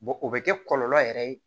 o bɛ kɛ kɔlɔlɔ yɛrɛ ye